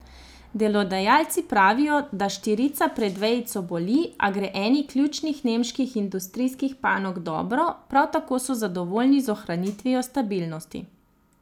Delodajalci pravijo, da štirica pred vejico boli, a gre eni ključnih nemških industrijskih panog dobro, prav tako so zadovoljni z ohranitvijo stabilnosti.